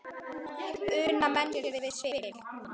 Una menn sér við spil.